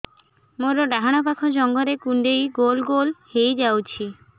ମୋର ଡାହାଣ ପାଖ ଜଙ୍ଘରେ କୁଣ୍ଡେଇ ଗୋଲ ଗୋଲ ହେଇଯାଉଛି